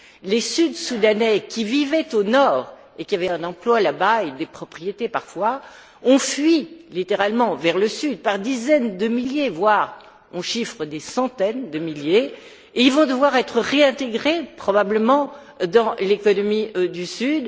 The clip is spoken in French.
Les Sud Soudanais qui vivaient au Nord et qui avaient un emploi là bas, avec des propriétés parfois, ont fui littéralement vers le Sud par dizaines de milliers, voire par centaines de milliers, et ils vont devoir être réintégrés probablement dans l'économie du Sud.